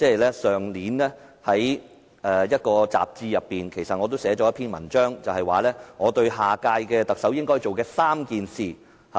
其實，我去年於某雜誌撰寫一篇文章，提到我認為下屆特首應做的3件事。